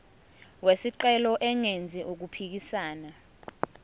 wesicelo engenzi okuphikisana